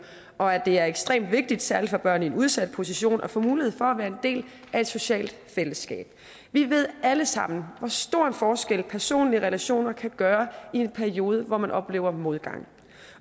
og at det er ekstremt vigtigt særlig for børn i en udsat position at få mulighed for at være en del af et socialt fællesskab vi ved alle sammen hvor stor en forskel personlige relationer kan gøre i en periode hvor man oplever modgang